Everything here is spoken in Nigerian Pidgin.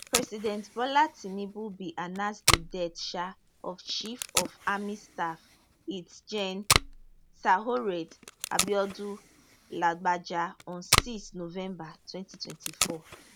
president bola tinubu bin announce di death um of chief of army staff lt gen taoreed abiodun lagbaja on six november twenty twenty four